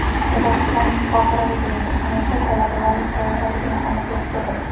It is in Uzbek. Qozog‘istonning Qohiradagi elchixonasi talabalarning qayerdaligini aniqlashga kirishdi.